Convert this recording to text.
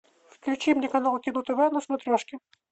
включи мне канал кино тв на смотрешке